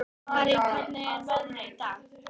Harrý, hvernig er veðrið í dag?